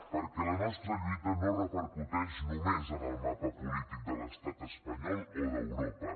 perquè la nostra lluita no repercuteix només en el mapa polític de l’estat espanyol o d’europa